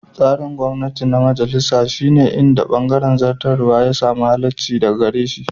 Tsarin gwamnati na majalisa shi ne inda bangaren zartarwa ya sami halaccinsa daga gare shi.